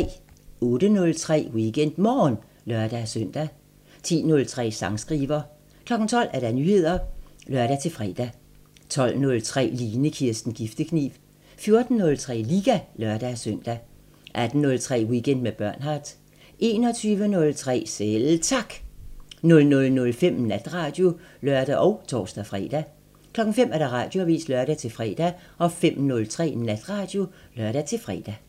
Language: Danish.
08:03: WeekendMorgen (lør-søn) 10:03: Sangskriver 12:00: Nyheder (lør-fre) 12:03: Line Kirsten Giftekniv 14:03: Liga (lør-søn) 18:03: Weekend med Bernhard 21:03: Selv Tak 00:05: Natradio (lør og tor-fre) 05:00: Radioavisen (lør-fre) 05:03: Natradio (lør-fre)